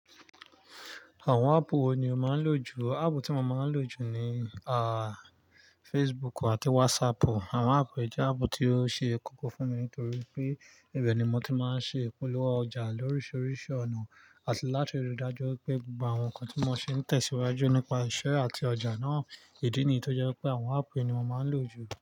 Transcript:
Àwọn áàpù wo ni o máa ń lò jù? Ààpù tí mo máa ń lò jù ni, ah, Facebook àti WhatsApp. Àwọn áàpù èyí jẹ́ áàpù tí ó ṣe kókó fún mi nítorí pé ibẹ̀ ni mo ti máa ń ṣe ìpolówó ọjà lóríṣiríṣi ọ̀nà, àti láti ri dájú wi pé gbogbo àwọn nǹkan tí mo ṣe ń tẹ̀síwájú nípa iṣẹ́ àti ọjà náà, ìdí nìyí tó jẹ́ pé àwọn áàpù ni mo máa ń lò jù.